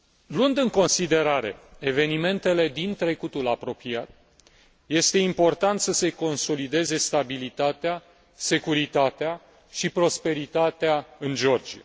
Luând în considerare evinementele din trecutul apropiat, este important să se consolideze stabilitatea, securitatea și prosperitatea în Georgia.